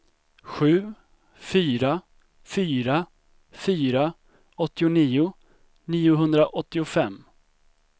sju fyra fyra fyra åttionio niohundraåttiofem